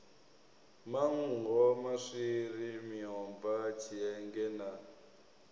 manngo maswiri miomva tshienge na